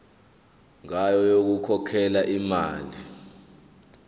ngayo yokukhokhela imali